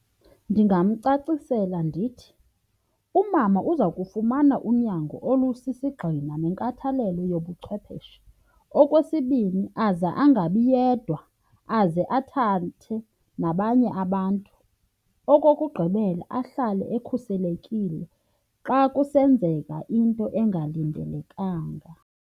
Ndingamcacisela ndithi, umama uza kufumana unyango olusisigxina nenkathalelo yobuchwepheshe. Okwesibini, aze angabi yedwa, aze athathe nabanye abantu. Okokugqibela, ahlale ekhuselekile xa kusenzeka into engalindelekanga.